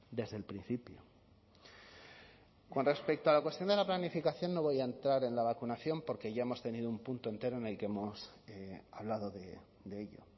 desde el principio con respecto a la cuestión de la planificación no voy a entrar en la vacunación porque ya hemos tenido un punto entero en el que hemos hablado de ello